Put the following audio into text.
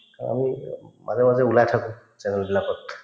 আমি মাজে মাজে ওলাই থাকো channel বিলাকত